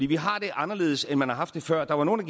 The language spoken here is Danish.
vi har det anderledes end man har haft det før der var nogle